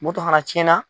Moto fana cɛn na